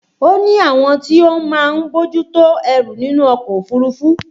O ní àwọn tí ó máa ń bójú tó ẹrù nínú ọkọ̀ òfúrufú